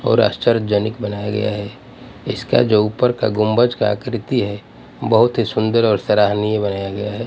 और आश्चर्यजनक बनाया गया है इसका जो ऊपर का गुंभज का आकृति है बहुत ही सुंदर और सराहनीय बनाया गया है।